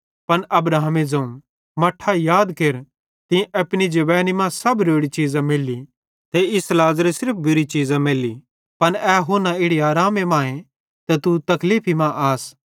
पन अब्राहमे ज़ोवं मट्ठां याद केर तीं त अपनी जवेंनी मां सब रोड़ी चीज़ां मैल्ली ते इस लाज़रे सिर्फ बुरी चीज़ां मैल्ली पन ए हुन्ना इड़ी आरामे मांए ते तू तकलीफी मां आस